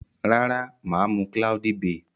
Rara, maa mu cloudy bay.